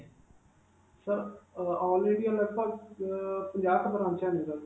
sir, ਅਅ all India ਲਗ-ਭਗ ਅਅ ਪੰਜਾਹ ਕੁ ਬਰਾਂਚਾਂ ਨੇ sir.